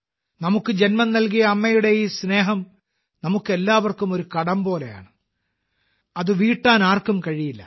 നമുക്ക് ജന്മം നൽകിയ അമ്മയുടെ ഈ സ്നേഹം നമുക്കെല്ലാവർക്കും ഒരു കടം പോലെയാണ് അത് വീട്ടാൻ ആർക്കും കഴിയില്ല